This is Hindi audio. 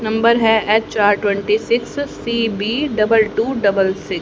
नंबर है H R twenty six C B double two double C --